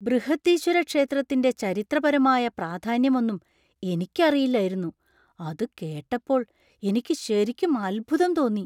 ബൃഹദീശ്വര ക്ഷേത്രത്തിന്‍റെ ചരിത്രപരമായ പ്രാധാന്യമൊന്നും എനിക്ക് അറിയില്ലായിരുന്നു, അത് കേട്ടപ്പോൾ എനിക്ക് ശരിക്കും അത്ഭുതം തോന്നി.